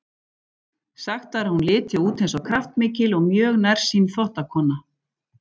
Sagt var að hún liti út eins og kraftmikil og mjög nærsýn þvottakona.